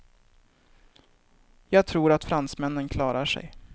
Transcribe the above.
Jag tror att fransmännen klarar sig.